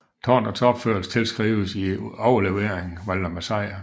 Tårnets opførelse tilskrives i overleveringen Valdemar Sejr